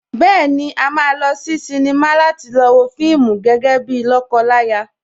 Bẹ́ẹ̀ni, a máa lọ sí sínímà láti lọ wo fíìmù gẹ́gẹ́ bíi lọ́kọ láya